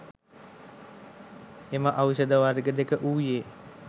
එම ඖෂධ වර්ග දෙක වූයේ